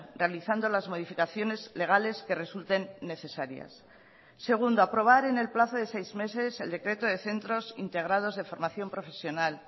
realizando las modificaciones legales que resulten necesarias segundo aprobar en el plazo de seis meses el decreto de centros integrados de formación profesional